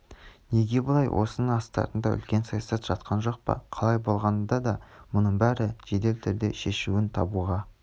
неге бұлай осының астарында үлкен саясат жатқан жоқ па қалай болғанда да мұның бәрі жедел түрде шешуін табуға